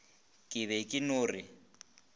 ke be ke no re